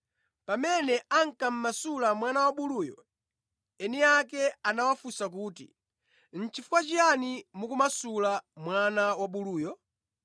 Pamene ankamasula mwana wabuluyo, eni ake anawafunsa kuti, “Nʼchifukwa chiyani mukumasula mwana wabuluyo?”